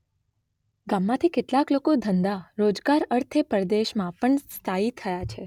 ગામમાંથી કેટલાક લોકો ધંધા - રોજગાર અર્થે પરદેશમાં પણ સ્થાયી થયા છે.